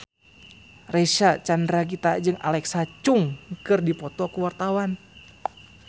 Reysa Chandragitta jeung Alexa Chung keur dipoto ku wartawan